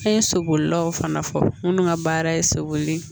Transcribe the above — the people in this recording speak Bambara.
An ye so bolilaw fana fɔ minnu ka baara ye soboli